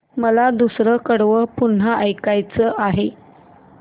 मला दुसरं कडवं पुन्हा ऐकायचं आहे